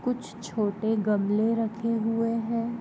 कुछ छोटे गमले रखे हुए हैं।